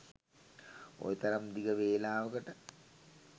ඔය තරම් දිග වෙලාවකට.